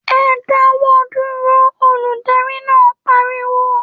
‘E̩ dáwó̩ dúró!’, olùdarí náà pariwo